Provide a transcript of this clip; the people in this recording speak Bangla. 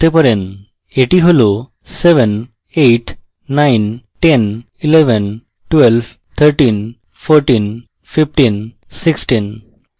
এটি হল 7 8 9 10 11 12 13 14 15 16